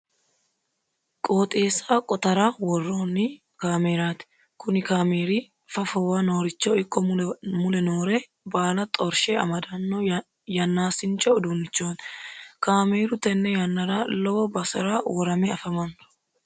Qooxeessa qotara worroonni kaameeraati. Kuni kaameeri fafowa nooricho ikko mule noore baala xorshe amadanno yannaasincho uduunnichooti. Kaameeru tenne yannara lowo basera worame. afamanno.